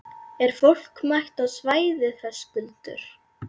Er fólk mætt á svæðið, Höskuldur?